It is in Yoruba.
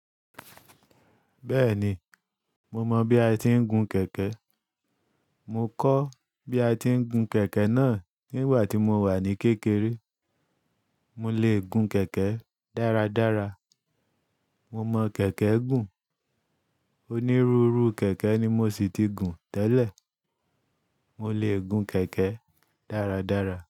Bẹ́ẹ̀ni, mo mọ bí a ti ń gun kẹ̀kẹ́. Mo kọ́ bí a ti ń gun kẹ̀kẹ́ náà nígbà tí mo wà ní kékeré. Mo lè gun kẹ̀kẹ́ dáradára. Mo mọ kẹ̀kẹ́ gùn. Onírúurú kẹ̀kẹ́ ni mo ṣì ti gun tẹ́lẹ̀. Mo lè gun kẹ̀kẹ́ dáradára.